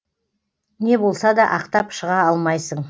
не болса да ақтап шыға алмайсың